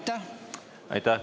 Aitäh!